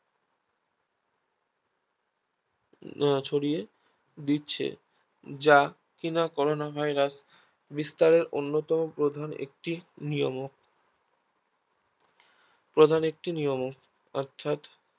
ছড়িয়ে দিচ্ছে যা কিনা Corona virus বিস্তারের প্রধান একটি নিয়ম ও প্রধান একটি নিয়মও